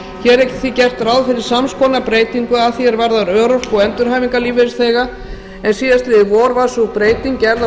hér er því gert ráð fyrir sams konar breytingu að því er varðar örorku og endurhæfingarlífeyrisþega en síðastliðið vor var sú breyting gerð á